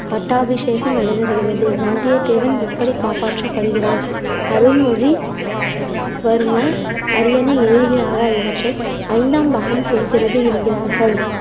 பட்டாபிசேகம் நடைபெறுகிறது. வந்தியதேவன் எப்படி காப்பாற்றப்படுகிறான். அருள்மொழி வர்மர் அரியணை ஏறுகிறாரா? இவற்றை ஐந்தாம் பாகம் சொல்கிறது என்கிறார்கள்